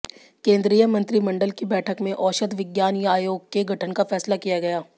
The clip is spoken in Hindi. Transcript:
केन्द्रीय मंत्रिमंडल की बैठक में औषध विज्ञान आयोग के गठन का फैसला किया गया